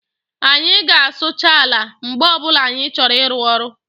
Anyị ga-asụcha ala mgbe ọbula anyị chọrọ ịru ọrụ